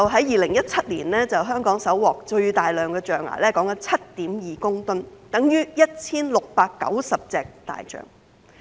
2017年香港搜獲最大批象牙共 7.2 公噸，相等於 1,690 隻大象。